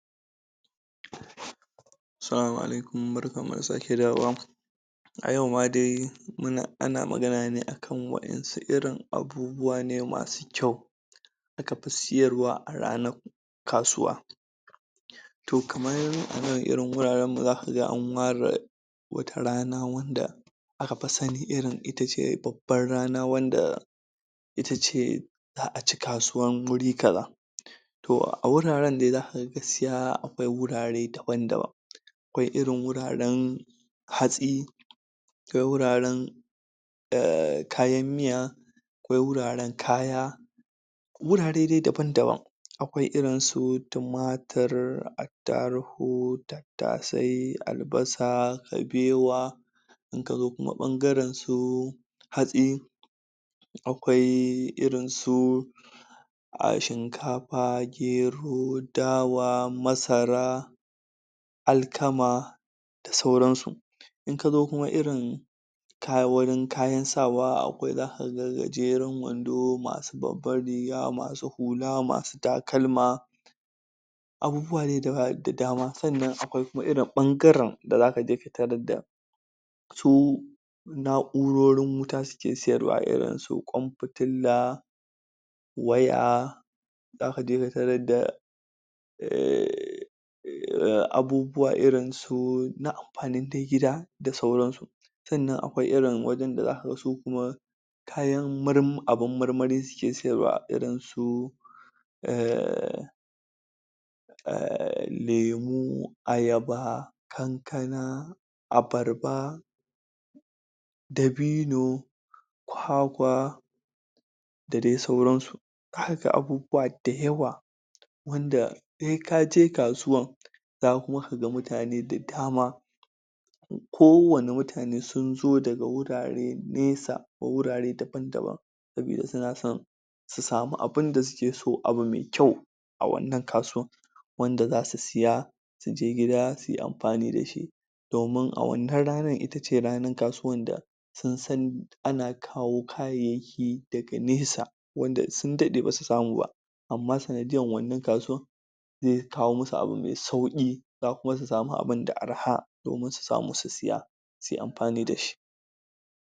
Salama Alaikum, barkan mu da sake dawowa A yau ma de, mu na, a na magana ne akan waen su irin abubuwa ne masu kyau da aka pi siyarwa a ranar kasuwa toh kamar a nan, irin wuraren mu za ka gan a wara wata rana wanda aka fi sani irin itace babban rana wanda itace zaa ci kasuwar wuri kaza toh a wuraren dai za ka gaskiya akwai wurare daban-daban akwai irin wuraren hatsi akwai wuraren kayan miya akwai wuraren kaya wurare dai daban-daban. Akwai irin su tumatur ataruhu tatase, albasa, kabewa in ka zo kuma bangaren su hatsi akwai irin su a shinkafa, gero dawa, masara alkama da sauran su, in ka zo kuma irin kayi wurin, kayan sawa akwai za ka gan gajeren wando masu babban riga, masu hula, masu takalma abubuwa dai da dama, tsannan akwai kuma irin bangaren da za ka je ka tarar da su naurorin wuta su ke siyarwa irin su kwan fitilla waya za ka je ka tarar da abubuwa irin su na ampanin dai gida da sauran su sannan akwaiirin wajen da za ka gan su kuma kayan murma abun marmari su ke siyarwa, irin su um lemu, ayaba kankana, abarba dabino kwakwa da dai sauran su, ka ga abubuwa dayawa wanda, sai ka je kasuwan za kuma ka gan mutane da dama ko wanne mutane sun zo daga wurare nesa, ko wurare daban-daban sabida su na son su samu abunda su ke so abu mai kyau a wannan kasuwa wanda za su siya, su je gida su yi amfani da shi domin a wannan ranar itace ranar kasuwan da sun san, ana kawo kayaki daga nesa wanda sun dadde ba su samu ba amma sanadiyan wannan kasuwan zai kawo musu abu mai sauƙi za kuma su samu abun da araha domin su samu su siya su yi amfani da shi.